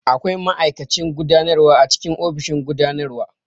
Akwai ma'aikacin gudanarwa a cikin ofishin gudanarwa.